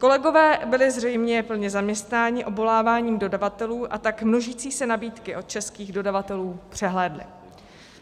Kolegové byli zřejmě plně zaměstnáni obvoláváním dodavatelů, a tak množící se nabídky od českých dodavatelů přehlédli.